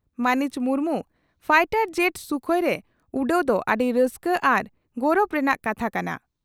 ᱢᱟᱹᱱᱤᱡ ᱢᱩᱨᱢᱩ fighter jet ᱥᱩᱠᱷᱚᱭᱨᱮ ᱩᱰᱟᱹᱣᱜ ᱫᱚ ᱟᱹᱰᱤ ᱨᱟᱹᱥᱠᱟᱹ ᱟᱨ ᱜᱚᱨᱚᱵ ᱨᱮᱱᱟᱜ ᱠᱟᱛᱷᱟ ᱠᱟᱱᱟ ᱾